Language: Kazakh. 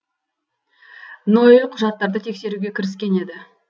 ноэль құжаттарды тексеруге кіріскен еді